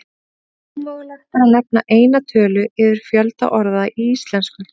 Ómögulegt er að nefna eina tölu yfir fjölda orða í íslensku.